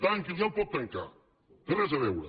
tanqui’l ja el pot tancar no hi té res a veure